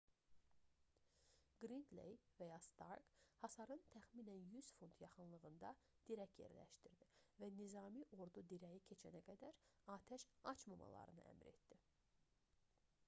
qridley və ya stark hasarın təxminən 100 fut 30 m yaxınlığında dirək yerləşdirdi və nizami ordu dirəyi keçənə qədər atəş açmamalarını əmr etdi